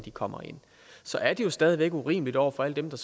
kommer ind så er det jo stadig væk urimeligt over for alle dem der